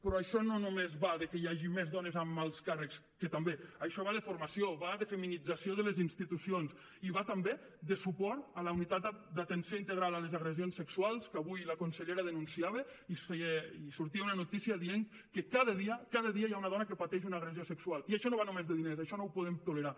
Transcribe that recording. però això no només va de que hi hagi més dones en alts càrrecs que també això va de formació va de feminització de les institucions i va també de suport a la unitat d’atenció integral a les agressions sexuals que avui la consellera denunciava i sortia una notícia dient que cada dia cada dia hi ha una dona que pateix una agressió sexual i això no va només de diners això no ho podem tolerar